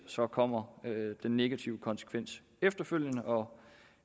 så kommer den negative konsekvens efterfølgende og